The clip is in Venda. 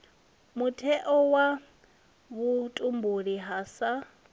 mutheo wa vhutumbuli ha sa